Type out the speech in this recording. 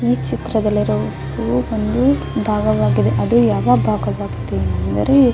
ಈ ಚಿತ್ರದಲ್ಲಿ ಒಂದು ಭಾವವಾಗಿದೆ ಅವು ಯಾವ ಭಾವವಾಗಿದೆ ಅಂದರೆ --